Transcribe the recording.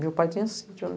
Meu pai tinha sítio ali.